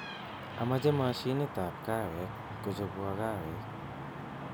Amache mashinitab kahawek kochobwo kahawek